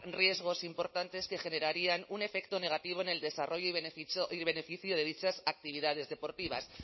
riesgos importantes que generarían un efecto negativo en el desarrollo y beneficio de dichas actividades deportivas